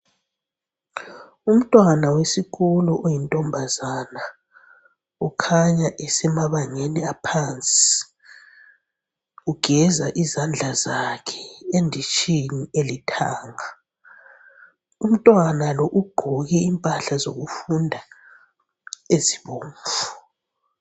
Umntwana wesikolo oyintombazana ukhanya esemabangeni aphansi, ugeza izandla zakhe enditshini elithanga umntwana lo ugqoke impahla zokufunda ezibomvu.